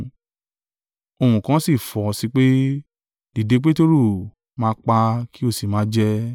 Ohùn kan si fọ̀ sí i pe, “Dìde, Peteru; máa pa kí o sì máa jẹ.”